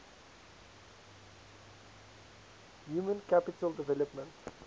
human capital development